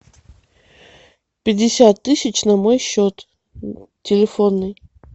пятьдесят тысяч на мой счет телефонный